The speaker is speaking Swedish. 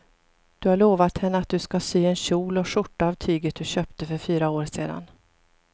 Du har lovat henne att du ska sy en kjol och skjorta av tyget du köpte för fyra år sedan.